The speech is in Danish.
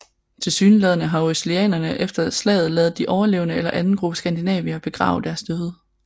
Tilsyneladende har oeselianerne efter slaget ladet de overlevende eller en anden gruppe skandinaver begrave deres døde